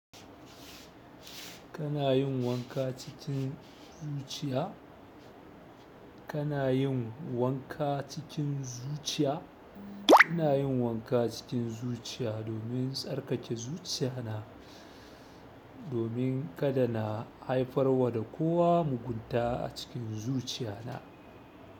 Kana yin wanka cikin zuciya? Kana yin wanka cikin zuciya? Ina yin wanka cikin zuciya domin tsarkake zuciya na, domin kada na haifar wa da kowa mugunta a cikin zuciya na.